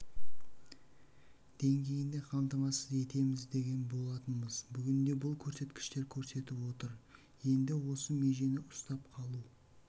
деңгейінде қамтамасыз етеміз деген болатынбыз бүгінде бұл көрсеткіш көрсетіп отыр енді осы межені ұстап қалу